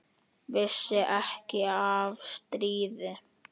Vissi ekki af stríði.